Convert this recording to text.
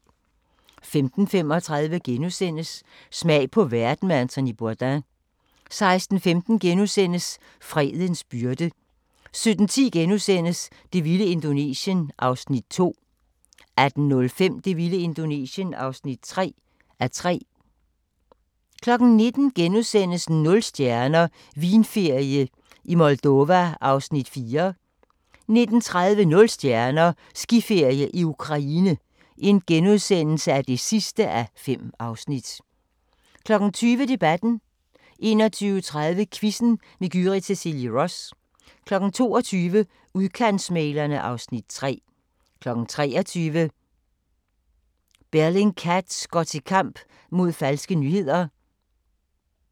15:35: Smag på verden med Anthony Bourdain * 16:15: Fredens byrde * 17:10: Det vilde Indonesien (2:3)* 18:05: Det vilde Indonesien (3:3) 19:00: Nul stjerner – Vinferie i Moldova (4:5)* 19:30: Nul stjerner – Skiferie i Ukraine (5:5)* 20:00: Debatten 21:30: Quizzen med Gyrith Cecilie Ross 22:00: Udkantsmæglerne (Afs. 3) 23:00: Bellingcat går til kamp mod falske nyheder